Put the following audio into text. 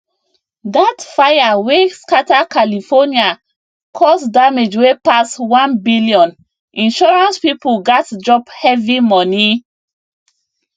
that fire wey scatter california cause damage wey pass 1 billioninsurance people gats drop heavy money